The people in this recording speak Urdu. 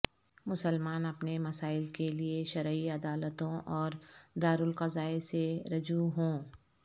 مسلمان اپنے مسائل کے لیے شرعی عدالتوں اور دارالقضاء سے رجوع ہوں